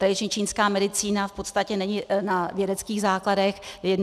Tradiční čínská medicína v podstatě není na vědeckých základech.